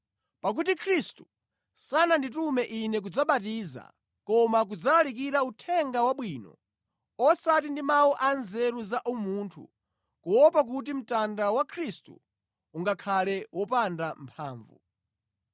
Pakuti Khristu sananditume ine kudzabatiza, koma kudzalalikira Uthenga Wabwino, osati ndi mawu anzeru za umunthu, kuopa kuti mtanda wa Khristu ungakhale wopanda mphamvu.